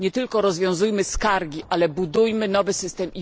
Nie tylko rozwiązujmy skargi, ale budujmy lepszy system.